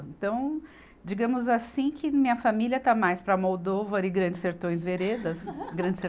Então, digamos assim que minha família está mais para Almodóvar e grandes sertões veredas Grande ser